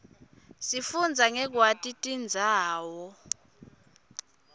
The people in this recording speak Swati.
sifunbza nqekwaiti tirbzawo